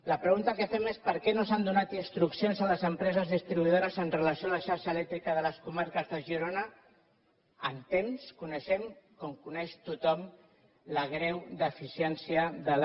la pregunta que fem és per què no s’han donat instruccions a les empreses distribuïdores amb relació a la xarxa elèctrica de les comarques de girona amb temps coneixent com coneix tothom la greu deficiència de la